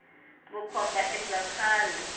vukhomba i bya khale